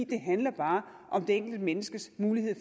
det handler bare om det enkelte menneskes mulighed